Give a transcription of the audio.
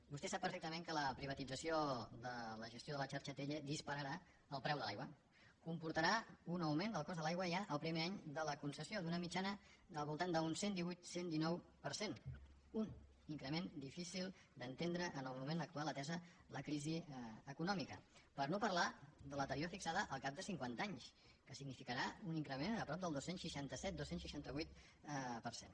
vostè sap perfectament que la privatització de la gestió de la xarxa atll dispararà el preu de l’aigua comportarà un augment del cost de l’aigua ja el primer any de la concessió d’una mitjana al voltant d’un cent i divuit cent i dinou per cent un increment difícil d’entendre en el moment actual atesa la crisi econòmica per no parlar de l’anterior fixada al cap de cinquanta anys que significarà un increment de prop del dos cents i seixanta set dos cents i seixanta vuit per cent